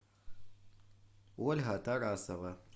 ольга тарасова